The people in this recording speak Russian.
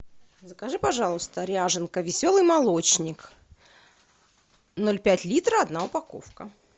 закажи пожалуйста ряженка веселый молочник ноль пять литра одна упаковка